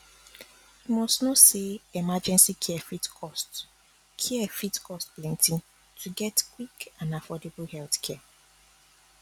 you must know say emergency care fit cost care fit cost plenty to get quick and affordable healthcare